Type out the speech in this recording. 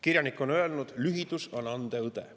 Kirjanik on öelnud, et lühidus on ande õde.